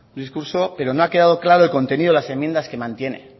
discurso pero no ha quedado claro el contenido de las enmiendas que mantiene